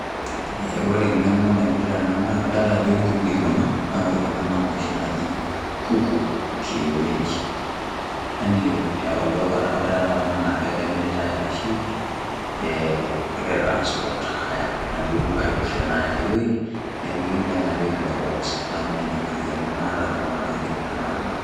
Ee kore eng'eno naipirta ena naa kadolta ajo nkukui kuna naa kore kuna naa inoshi naaji kuku kienyeji, yaani olduka ore taa kuna naake emiritai arashe ee egirai ai transport ayaa aidu aidurie aya ai woi nenapieki ilo box. Neeku ninye enkariano naata nanu anashu enkipirta naata tene.